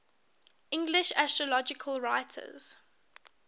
english astrological writers